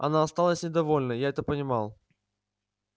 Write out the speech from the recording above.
она осталась недовольна я это понимал